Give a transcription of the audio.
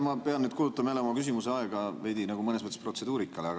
Ma pean nüüd kulutama jälle oma küsimuse aega mõnes mõttes protseduurikale.